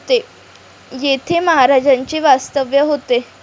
येथे महाराजांचे वास्तव्य होते.